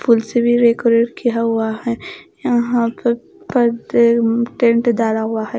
फूल से भी डेकोरेट किया हुआ है यहां पे पर्दे टेंट डाला हुआ है।